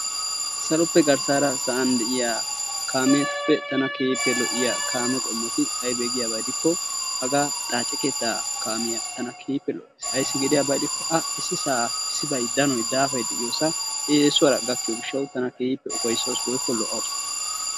Saloppe garssara sa'an de'ya kaametuppe tana keehippe lo'iya kaametuppe aybee giyaba gidikko hagaa xaace keettaa kaamiya tana keehippe lo"awusu ayssi gidiyaba gidikko A issisaa danoy daafay diyosaa eesuwaara gakkiyo gishshawu tana keehippe lo"awusu.